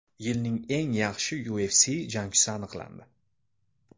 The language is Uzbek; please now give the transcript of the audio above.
Yilning eng yaxshi UFC jangchisi aniqlandi.